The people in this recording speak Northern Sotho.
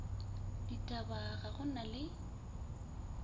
ditaba ga go na le